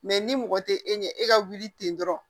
ni mɔgɔ tɛ e ɲɛ e ka wuli ten dɔrɔn